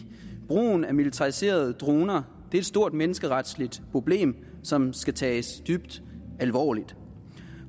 brugen af militariserede droner er et stort menneskeretligt problem som skal tages dybt alvorligt